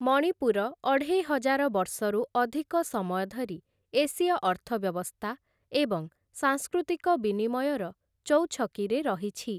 ମଣିପୁର ଅଢ଼େଇ ହଜାର ବର୍ଷରୁ ଅଧିକ ସମୟ ଧରି ଏସୀୟ ଅର୍ଥବ୍ୟବସ୍ଥା ଏବଂ ସାଂସ୍କୃତିକ ବିନିମୟର ଚୌଛକିରେ ରହିଛି ।